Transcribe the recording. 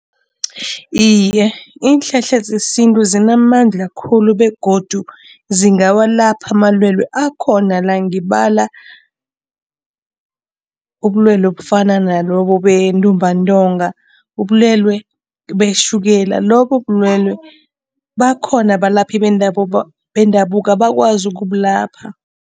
Iye, iinhlahla zesintu zinamandla khulu begodu zingawalapha amalwelwe akhona la, ngibala ubulwelwe obufana nalobu bentumbantonga, ubulwelwe betjhukela, lobu bulwelwe bakhona abalaphi bendabuko bendabuko abakwazi ukubulapha.